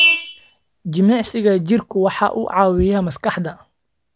Jimicsiga jirku waxa uu caawiyaa maskaxda.